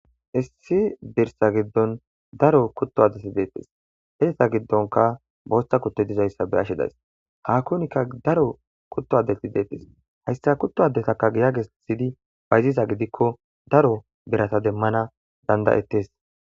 Issi birsa giddon daro kutto adeti deeppes heesta giddonka bosta kutto dizayssa beashshe days hakunikka daro kutto adeti deeppes hayssa kutto adetaka giya gessidi bayziza gidikko daro berata demmana dandayettes